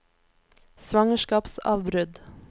svangerskapsavbrudd